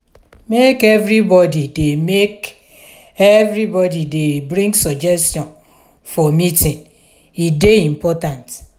make everybodi dey make everybodi dey bring suggestion for meeting o e dey important.